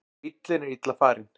Bíllinn er illa farinn